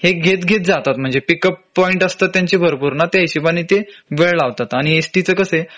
हे घेत घेत जातात म्हंजे पिक अप पॉईंट असतात त्यांचे भरपूर त्या हिशोबाने ते वेळ लावतात आणि एस टी च कसंए